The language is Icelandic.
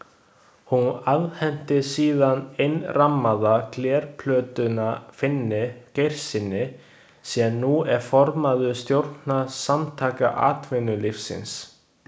Hún afhenti síðan innrammaða glerplötuna Finni Geirssyni, sem nú er formaður stjórnar Samtaka atvinnulífsins.